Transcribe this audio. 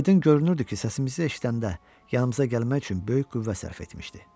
Aydın görünürdü ki, səsimizi eşidəndə yanımıza gəlmək üçün böyük qüvvə sərf etmişdi.